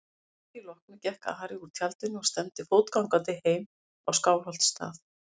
Að því loknu gekk Ari úr tjaldinu og stefndi fótgangandi heim á Skálholtsstað.